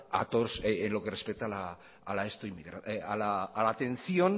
a la atención